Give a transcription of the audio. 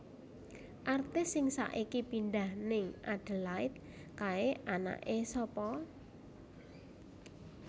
Artis sing saiki pindah ning Adelaide kae anake sapa